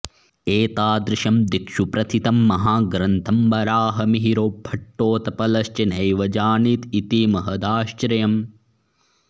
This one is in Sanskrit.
एतादृशं दिक्षु प्रथितं महाग्रन्थं वराहमिहिरो भट्टोत्पलश्च नैव जानीत इति महदाश्चर्यम्